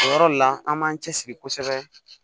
O yɔrɔ le la an b'an cɛsiri kosɛbɛ